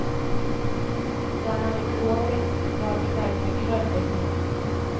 Den er i gråhvitt vadmel med grønn dekor.